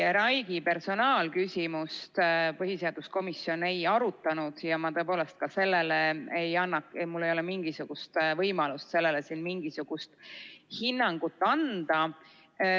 Katri Raigi personaalküsimust põhiseaduskomisjon ei arutanud ja mul tõepoolest ei ole ka mingisugust võimalust sellele siin hinnangut anda.